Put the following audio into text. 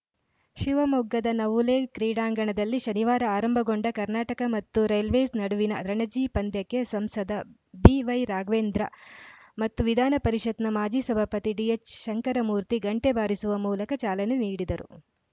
ಶಿವಮೊಗ್ಗದ ನವುಲೆ ಕ್ರೀಡಾಂಗಣದಲ್ಲಿ ಶನಿವಾರ ಆರಂಭಗೊಂಡ ಕರ್ನಾಟಕ ಮತ್ತು ರೈಲ್ವೇಸ್‌ ನಡುವಿನ ರಣಜಿ ಪಂದ್ಯಕ್ಕೆ ಸಂಸದ ಬಿವೈ ರಾಘವೇಂದ್ರ ಮತ್ತು ವಿಧಾನ ಪರಿಷತ್‌ನ ಮಾಜಿ ಸಭಾಪತಿ ಡಿಎಚ್‌ ಶಂಕರಮೂರ್ತಿ ಗಂಟೆ ಬಾರಿಸುವ ಮೂಲಕ ಚಾಲನೆ ನೀಡಿದರು